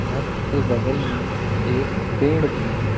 भक्त के बगल में एक पेड़ भी है।